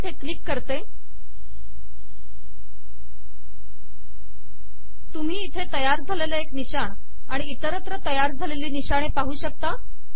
आता इथे क्लिक करते तुम्ही इथे तयार झालेले एक निशाण आणि इतरत्र तयार झालेली निशाणे पाहू शकता